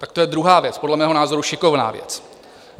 Tak to je druhá věc, podle mého názoru šikovná věc.